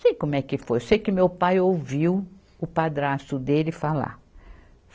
Sei como é que foi, sei que meu pai ouviu o padrasto dele falar.